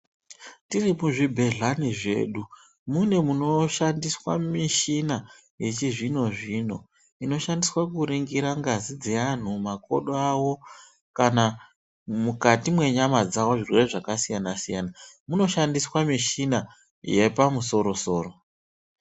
Tiri kuzvibhedhlani zvedu mune munoshandiswa michina yechizvino zvino inoshandiswe kuringira ngazi dzeanthu makodo awo kana mukati mwenyama dzao zviya zvakasiyana siyana munoshandisqa mishina yepamusoro soro.